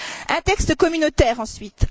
Un texte communautaire, ensuite.